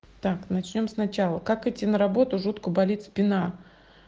так начнём сначала как идти на работу жутко болит спина